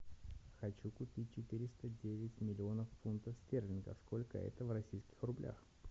хочу купить четыреста девять миллионов фунтов стерлингов сколько это в российских рублях